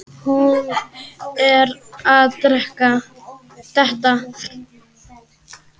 Hún er að detta.